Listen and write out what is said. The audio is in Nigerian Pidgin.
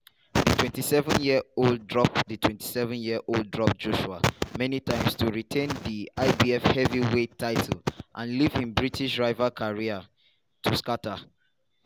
di 27-year-old drop 27-year-old drop joshua many times to retain di ibf heavyweight title and leave im british rival career to scata.